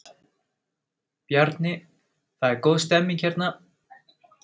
Bjarni, það er góð stemning hérna?